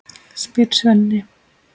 spyr Svenni.